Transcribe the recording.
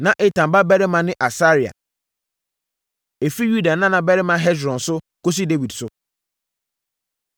Na Etan babarima ne Asaria. Ɛfiri Yuda Nana Barima Hesron So Kɔsi Dawid So